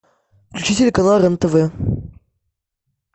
включи телеканал рен тв